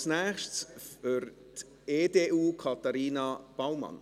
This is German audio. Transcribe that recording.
Als Nächstes für die EDU, Katharina Baumann.